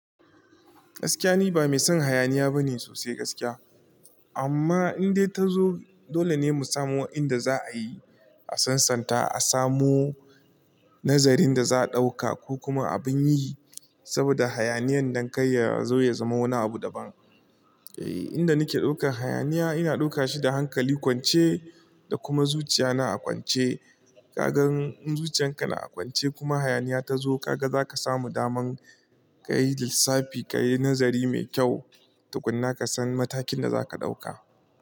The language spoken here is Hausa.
Gaskiya ni ba mai son hayaniya bane sosai gaskiya. Amma in dai ta zo dole ne mu samu inda za a yi, a sansanta, a samu nazarin da za a ɗauka ko kuma abin yi saboda hayaniyan dankai ya zo ya zama wani abu daban. Eh, inda nake daukar hayaniya ina dauka shi da hankali kwance da kuma zuciya na a kwance. Kagan zuciyan ka na a kwance kuma hayaniya ta zo, ka ga za ka samu daman ka yi lissafi, ka yi nazari mai kyau, tukuna ka san matakin da za ka ɗauka.